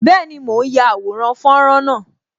Bẹẹni, mo ń ya àwòrán fọ́nrán náà